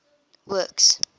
works